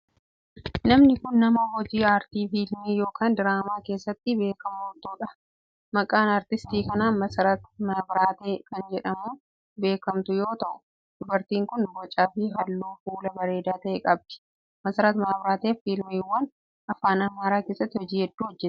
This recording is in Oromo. Namni kun, nama hojii aartii fiilmii yokin diraamaa keessatti beekamtuu dha. Maqaan aartiistii kanaa Masarat Mabraatee kan jedhamuun beekamu yoo ta'u, dubartiin kun boca fi haalluu fuulaa bareedaa ta'e qabdi. Masarat Mabraatee fiilmiiwwan afaan Amaaraa keessatti hojii hedduu hojjatteetti.